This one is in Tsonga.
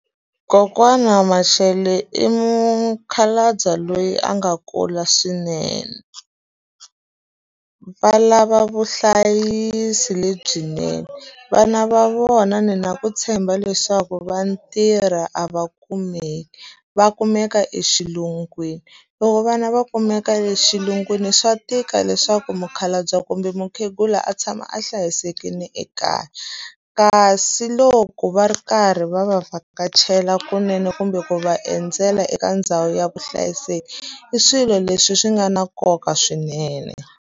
Kokwana Mashele i mukhalabye loyi a nga kula swinene, va lava vuhlayiseki lebyinene. Vana va vona na ku tshemba leswaku va tirha a va kumeki, va kumeka exilungwini. Loko vana va kumeka le xilungwini swa tika leswaku mukhalabye kumbe mukhegula a tshama a hlayisekile ekaya. Kasi loko va ri karhi va va vhakachela kunene kumbe ku va endzela eka ndhawu ya vuhlayiseki, i swilo leswi swi nga na nkoka swinene.